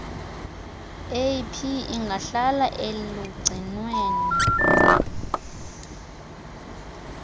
ap ingahlala elugcinweni